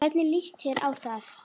Hvernig líst þér á það?